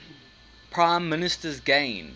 prime ministers gained